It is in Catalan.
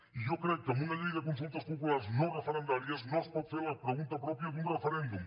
i jo crec que amb una llei de consultes populars no referendàries no es pot fer la pregunta pròpia d’un referèndum